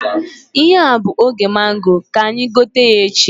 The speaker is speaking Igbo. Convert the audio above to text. Ihe a bụ oge mango, ka anyị gote ya echi